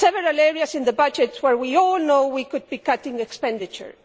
There are several areas of the budget where we all know we could be cutting expenditure.